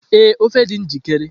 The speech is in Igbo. Ee, ofe dị njikere